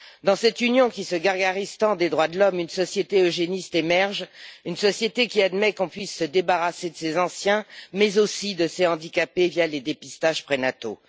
Dans cette Union qui se gargarise tant des droits de l'homme, une société eugéniste émerge, une société qui admet qu'on puisse se débarrasser de ses anciens, mais aussi de ses handicapés via les dépistages prénataux.